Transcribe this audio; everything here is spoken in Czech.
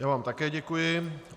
Já vám také děkuji.